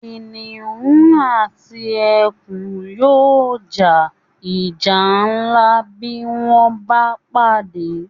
kìnìún àti ẹkùn yóò ja ìjà ńlá bí wọ́n bá pàdé